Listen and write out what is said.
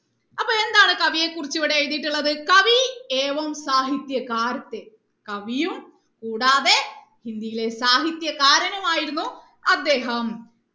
അപ്പൊ എന്താണ് കവിയെക്കുറിച്ച് ഇവിടെ എഴുതിയിട്ടുള്ളത് കവി സാഹിത്യകാർ കവിയും കൂടാതെ ഹിന്ദിയിലെ സാഹിത്യകാരനുമായിരുന്നു അദ്ദേഹം